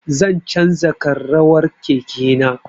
Zan canza ƙarrawar keke na